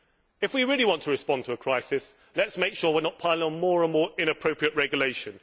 If we really want to respond to a crisis, let us make sure we are not piling on more and more inappropriate regulation.